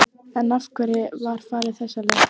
En af hverju var farið þessa leið?